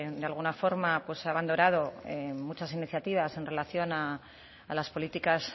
de alguna forma ha abanderado muchas iniciativas en relación a las políticas